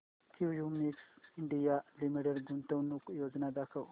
Cummins India Limited गुंतवणूक योजना दाखव